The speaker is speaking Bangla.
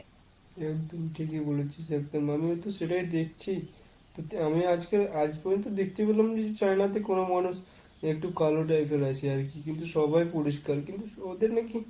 একদম ঠিকই বলেছিস একদম। আমিও তো সেটাই দেখছি, সত্যি আমি আজ~ আজ পর্যন্ত দেখতে পেলাম না যে China তে কোন মানুষ একটু কালো type এর আছে আর কি। কিন্তু সবাই পরিস্কার কিন্তু ওদের নাকি